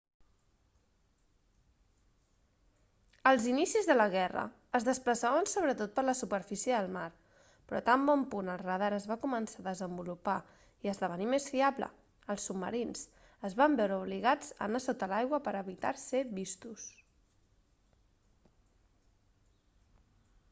als inicis de la guerra es desplaçaven sobretot per la superfície del mar però tan bon punt el radar es va començar a desenvolupar i a esdevenir més fiable els submarins es van veure obligats a anar sota l'aigua per a evitar ser vistos